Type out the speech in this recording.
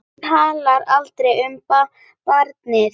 Hún talar aldrei um barnið.